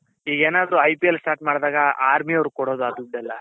ಈಗೇನಾದ್ರು IPL start ಮಾಡ್ದಾಗ ಅವ್ರು ಕೊಡೋದು ದುಡ್ಡೆಲ್ಲ .